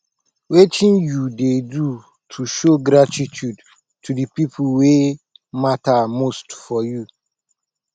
wetin you dey do to show gratitude to di people wey mata most for you